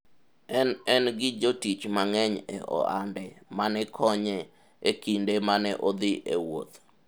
en en gi jotich mang'eny e ohande mane konye e kinde mane odhi e wuoth